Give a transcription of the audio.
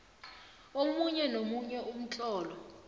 omunye nomunye umtlolo